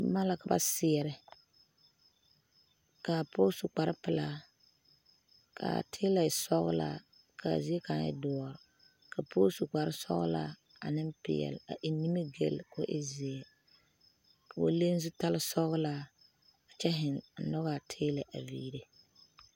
Boma la ka ba seɛɛrɛ kaa pɔge su kparepelaa kaa tiilɛ e sɔglaa kaa zie kaŋ e doɔre la pɔɔ su kparesɔglaa aneŋ peɛle a eŋ nimigyile ko e zeɛ koo leŋ zutale sɔglaa a kyɛ zeŋ a ngogaa tiilɛ a viire.